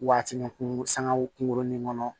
Waati ni kungo kunkurunin kɔnɔ